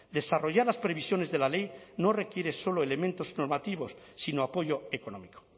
desarrollar las previsiones de la ley no requiere solo elementos sino apoyo económico